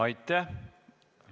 Aitäh!